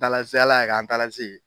Taala se ala ye an taala se yen.